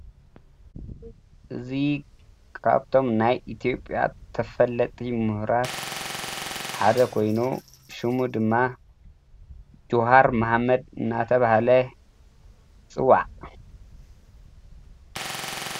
እዙይ ቃብቶም ናይ ኢቲኦጴያ ተፈለጢ ምህራት ሓደ ኾይኑ ሹሙ ድማ ችሃር መሃመድ እናተብሃለ ይጽዋዕ።